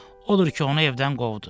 Odur ki, onu evdən qovdu.